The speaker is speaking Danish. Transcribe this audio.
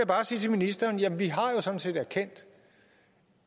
bare sige til ministeren jamen vi har jo sådan set erkendt